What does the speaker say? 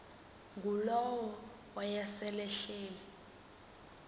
ngulowo wayesel ehleli